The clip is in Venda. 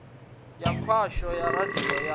ya khasho ya radio ya